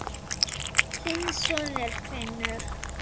Þinn sonur, Finnur.